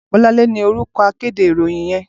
Bolanle ni órúkò àkédé iróyin yèn